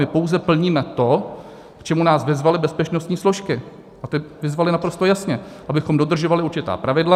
My pouze plníme to, k čemu nás vyzvaly bezpečnostní složky, a ty vyzvaly naprosto jasně, abychom dodržovali určitá pravidla.